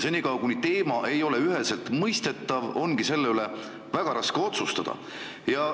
Senikaua kuni teema ei ole üheselt mõistetav, ongi selle üle väga raske otsustada.